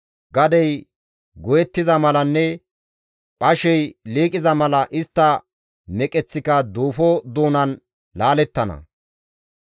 Gadey goyettiza malanne phashey liiqiza mala istta meqeththika duufo doonan laalettana.